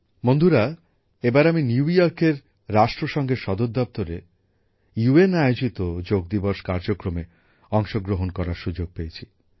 বন্ধুরা এবার আমি নিউ ইয়র্কে রাষ্ট্রসঙ্ঘের সদর দপ্তরে রাষ্ট্র সঙ্ঘ আয়োজিত যোগ দিবস কর্মসূচীতে অংশগ্রহণ করার সুযোগ পেয়েছি